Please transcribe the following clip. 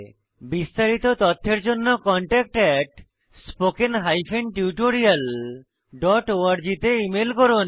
বিস্তারিত তথ্যের জন্য contactspoken tutorialorg তে ইমেল করুন